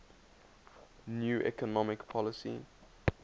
new economic policy